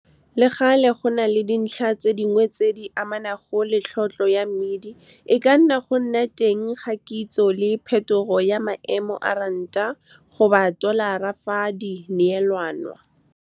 Le gale, go na le dintlha tse dingwe tse di amanang le tlhotlhwa ya mmidi, e ka nna go nna teng ga kitso le phethogo ya maemo a ranta-tolara fa di neelanwa. Le gale, go na le dintlha tse dingwe tse di amanang le tlhotlhwa ya mmidi, e ka nna go nna teng ga kitso le phethogo ya maemo a ranta-tolara fa di neelanwa.